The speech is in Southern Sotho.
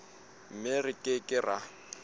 mme re ke ke ra